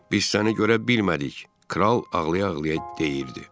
Biz səni görə bilmədik, kral ağlaya-ağlaya deyirdi.